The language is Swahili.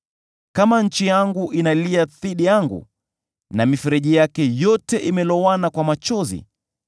“Kama nchi yangu inalia dhidi yangu, na mifereji yake yote imelowana kwa machozi,